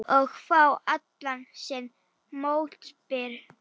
Og fá allan sinn mótbyr.